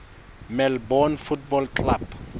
melbourne football club